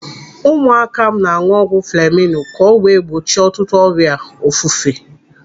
Ụmụaka m na-anụ ọgwụ fleminu ka o wee gbochie ọtụtụ ọrịa ofufe.